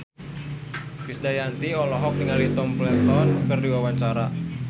Krisdayanti olohok ningali Tom Felton keur diwawancara